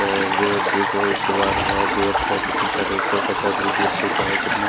अ और एक देखो दुवार हैं गेट है कितने सारे ऊपर का छत भी गिर चुका है कितना--